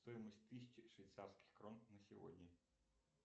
стоимость тысячи швейцарских крон на сегодня